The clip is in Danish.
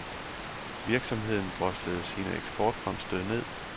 Virksomheden droslede sine eksportfremstød ned.